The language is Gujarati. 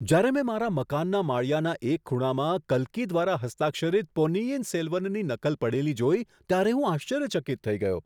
જ્યારે મેં મારા મકાનના માળિયાના એક ખૂણામાં કલ્કી દ્વારા હસ્તાક્ષરિત પોન્નિયિન સેલ્વનની નકલ પડેલી જોઈ, ત્યારે હું આશ્ચર્યચકિત થઈ ગયો!